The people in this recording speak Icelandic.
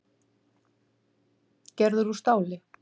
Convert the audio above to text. Gerður úr stáli.